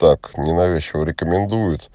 так ненавязчиво рекомендует